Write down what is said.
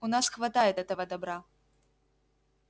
у нас хватает этого добра